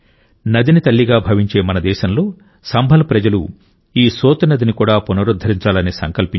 నదిని తల్లిగా భావించే మన దేశంలో సంభల్ ప్రజలు ఈ సోత్ నదిని కూడా పునరుద్ధరించాలని సంకల్పించారు